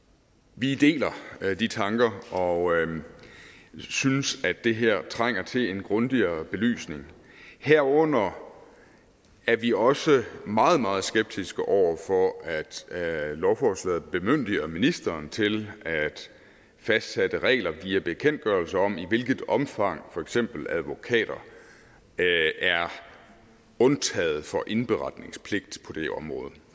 vi deler de tanker og synes at det her trænger til en grundigere belysning herunder er vi også meget meget skeptiske over for at lovforslaget bemyndiger ministeren til at fastsætte regler via bekendtgørelser om i hvilket omfang for eksempel advokater er undtaget for indberetningspligt på det område